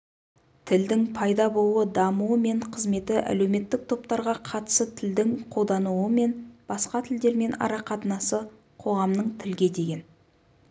тілдің пайда болуы дамуы мен қызметі әлеуметтік топтарға қатысы тілдің қолданылуы мен басқа тілдермен арақатынасы қоғамның тілге деген